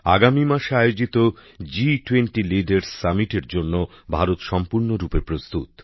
আগামী মাসে আয়োজিত জি২০ গোষ্ঠীর নেতৃবৃন্দের শীর্ষ সম্মেলনের জন্য ভারত সম্পূর্ণ প্রস্তুত